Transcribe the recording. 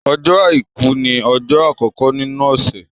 Ọjọ́ Àìkú ni ọjọ́ àkọkọ nínú ọ̀sẹ̀.